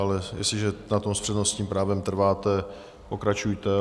Ale jestliže na tom s přednostním právem trváte, pokračujte.